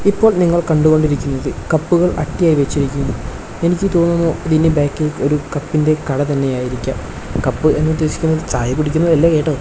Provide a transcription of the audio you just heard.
ഇപ്പോൾ നിങ്ങൾ കണ്ടുകൊണ്ടിരിക്കുന്നത് കപ്പുകൾ ആട്ടിയായി വച്ച് ഇരിക്കുന്നു എനിക്ക് തോന്നുന്നു ഇതിന് ബാക്കിൽ ഒരു കപ്പിൻ്റെ കട തന്നെയായിരിക്കാം കപ്പ് എന്ന് ഉദേശിക്കുന്നത് ചായ കുടിക്കുന്നത് അല്ല കേട്ടോ.